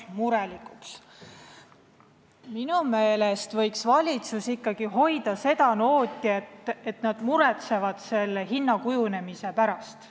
Minu meelest võiks valitsus ikkagi hoida seda nooti, et ta muretseks selle hinna kujunemise pärast.